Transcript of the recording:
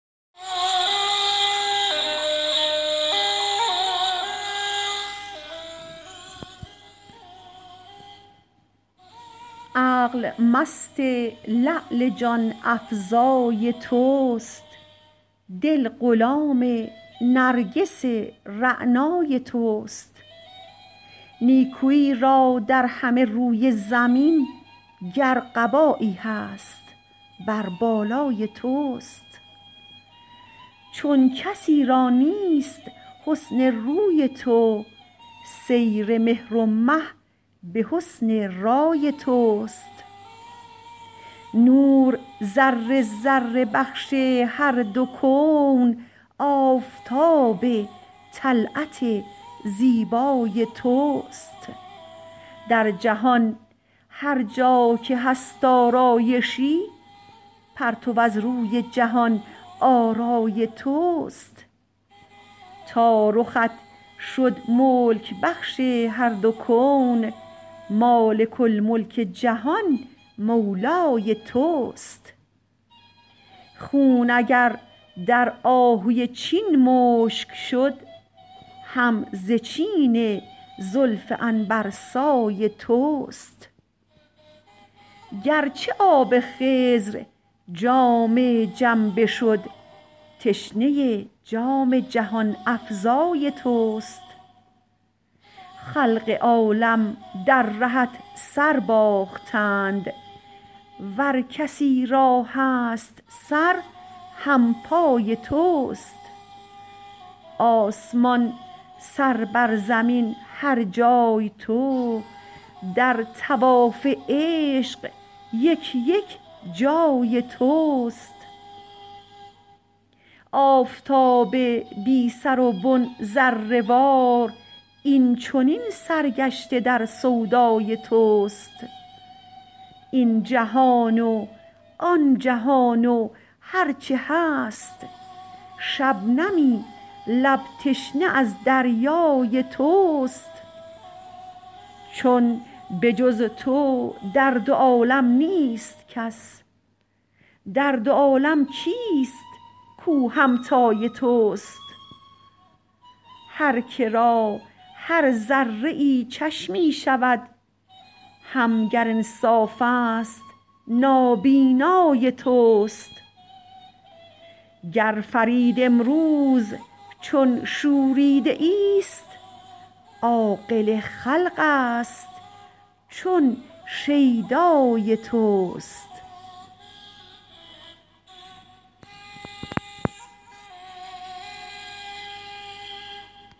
عقل مست لعل جان افزای توست دل غلام نرگس رعنای توست نیکویی را در همه روی زمین گر قبایی هست بر بالای توست چون کسی را نیست حسن روی تو سیر مهر و مه به حسن رای توست نور ذره ذره بخش هر دو کون آفتاب طلعت زیبای توست در جهان هرجا که هست آرایشی پرتو از روی جهان آرای توست تا رخت شد ملک بخش هر دو کون مالک الملک جهان مولای توست خون اگر در آهوی چین مشک شد هم ز چین زلف عنبرسای توست گرچه آب خضر جام جم بشد تشنه جام جهان افزای توست خلق عالم در رهت سر باختند ور کسی را هست سر همپای توست آسمان سر بر زمین هر جای تو در طواف عشق یک یک جای توست آفتاب بی سر و بن ذره وار این چنین سرگشته در سودای توست این جهان و آن جهان و هرچه هست شبنمی لب تشنه از دریای توست چون به جز تو در دو عالم نیست کس در دو عالم کیست کوهمتای توست هر که را هر ذره ای چشمی شود هم گر انصاف است نابینای توست گر فرید امروز چون شوریده ای است عاقل خلق است چون شیدای توست